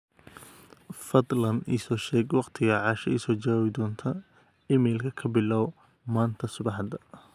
fadhlan iso sheeg waqtiga asha iso jawabi doonto iimaylkayga kabilaw maanta subaxda